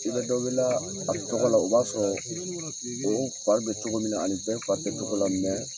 I bɛ dɔ wele a tɔgɔ la o b'a sɔrɔ o fari bɛ cogo min na ani bɛ fari tɛ cogo la mɛ